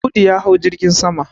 Audu ya hau jirgin sama.